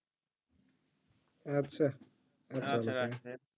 আচ্ছা আচ্ছা রাখই